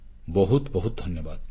ବହୁତ ବହୁତ ଧନ୍ୟବାଦ